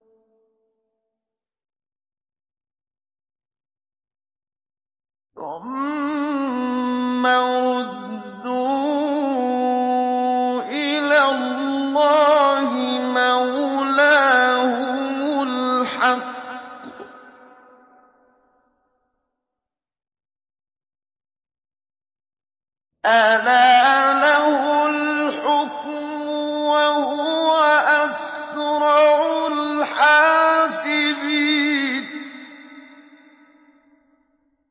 ثُمَّ رُدُّوا إِلَى اللَّهِ مَوْلَاهُمُ الْحَقِّ ۚ أَلَا لَهُ الْحُكْمُ وَهُوَ أَسْرَعُ الْحَاسِبِينَ